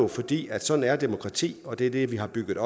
fordi sådan er demokrati og det er det vi har bygget